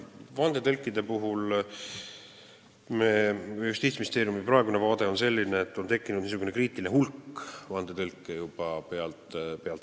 Vandetõlkide puhul on Justiitsministeeriumi praegune vaade selline, et on tekkinud kriitiline hulk vandetõlke.